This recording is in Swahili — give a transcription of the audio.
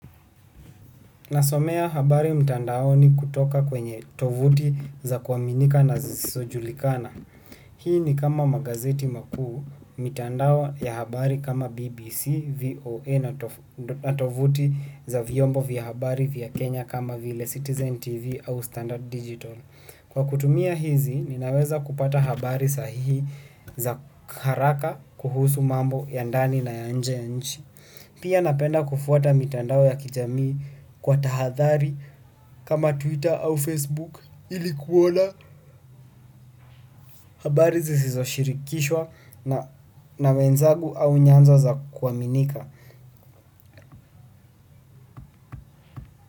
Nasomea habari mtandaoni kutoka kwenye tovuti za kuaminika na zisojulikana. Hii ni kama magazeti makuu, mitandao ya habari kama BBC, VOA na tovuti za vyombo vya habari vya Kenya kama vile Citizen TV au Standard Digital. Kwa kutumia hizi ninaweza kupata habari sahihi za haraka kuhusu mambo ya ndani na ya nje ya nchi. Pia napenda kufuata mitandao ya kijamii kwa tahadhari kama Twitter au Facebook ili kuona habari zizoshirikishwa na wenzangu au nyanzo za kuaminika.